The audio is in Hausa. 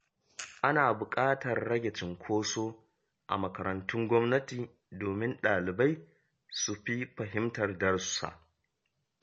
Ana buƙatar rage cunkoso a makarantun gwamnati domin dalibai su fi fahimtar darussa.